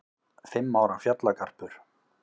Fimm ára fjallagarpur